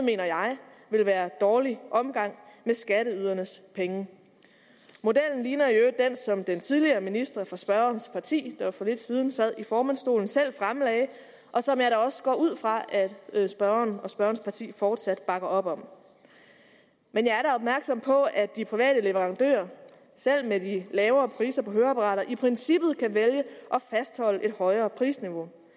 ville være dårlig omgang med skatteydernes penge modellen ligner i øvrigt som den tidligere minister fra spørgerens parti der for lidt siden sad i formandsstolen selv fremlagde og som jeg da også går ud fra at spørgeren og spørgerens parti fortsat bakker op om men jeg er da opmærksom på at de private leverandører selv med de lavere priser på høreapparater i princippet kan vælge at fastholde et højere prisniveau